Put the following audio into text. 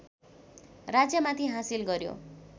राज्यमाथि हासिल गर्‍यो